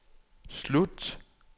slut